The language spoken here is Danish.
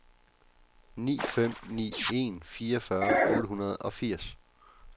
ni fem ni en fireogfyrre otte hundrede og firs